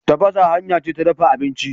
Tafasa hanya ce ta dafa abinci.